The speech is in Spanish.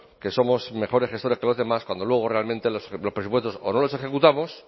que somos mejores gestores que los demás cuando luego realmente los presupuestos o no los ejecutamos